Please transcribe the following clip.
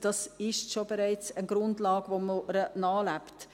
Dies ist bereits eine Grundlage, der man nachlebt.